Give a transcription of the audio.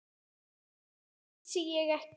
Þetta vissi ég ekki.